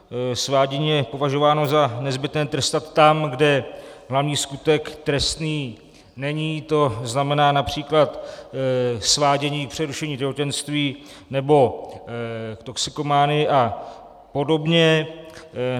Svádění je považováno za nezbytné trestat tam, kde hlavní skutek trestný není, to znamená například svádění k přerušení těhotenství nebo k toxikomanii a podobně.